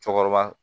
Cɔkɔrɔba